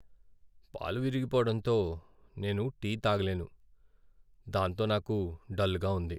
పాలు విరిగిపోవడంతో నేను టీ తాగలేను, దాంతో నాకు డల్గా ఉంది.